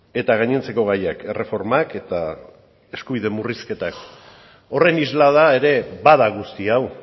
eta gainontzeko gaiak erreformak eta eskubide murrizketak horren islada ere bada guzti hau